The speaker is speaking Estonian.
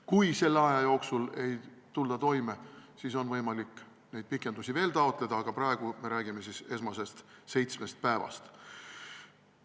Kui selle aja jooksul ei tulda toime, siis on võimalik neid pikendamisi veel taotleda, aga praegu me räägime esmasest seitsmest päevast.